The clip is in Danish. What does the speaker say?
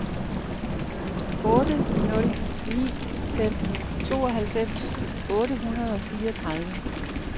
otte nul ni fem tooghalvfems otte hundrede og fireogtredive